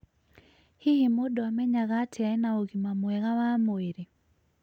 hihi mũndũ amenyaga atĩa ena ũgima mwega wa mwĩrĩ?